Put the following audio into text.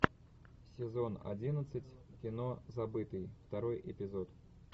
сезон одиннадцать кино забытый второй эпизод